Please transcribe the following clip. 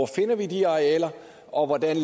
finder de arealer og hvordan